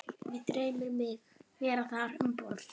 Mig dreymir mig vera þar um borð